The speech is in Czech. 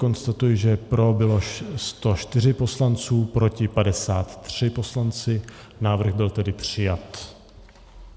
Konstatuji, že pro bylo 104 poslanců, proti 53 poslanci , návrh byl tedy přijat.